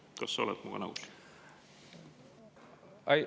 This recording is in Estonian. Kas sa oled minuga nõus?